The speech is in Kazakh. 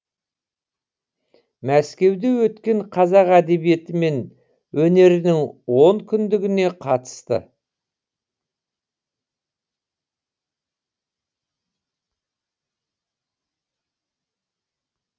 мәскеуде өткен қазақ әдебиеті мен өнерінің он күндігіне қатысты